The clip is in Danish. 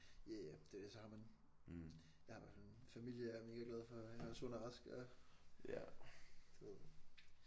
Ja ja det er det så har man jeg har i hvert fald en familie jeg er mega glad for og jeg er sund og rask og du ved